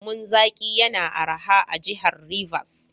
Lemon zaƙi yana araha a Jihar Rivers.